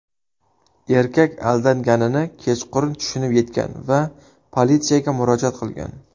Erkak aldanganini kechqurun tushunib yetgan va politsiyaga murojaat qilgan.